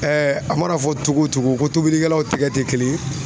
a mana fɔ cogo o cogo ko tobilikɛlaw tɛgɛ tɛ kelen ye